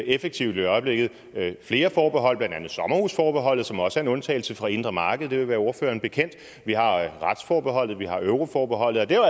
effektivt i øjeblikket flere forhold blandt andet sommerhusforbeholdet som også er en undtagelse fra det indre marked det vil være ordføreren bekendt vi har retsforbeholdet vi har euroforbeholdet og det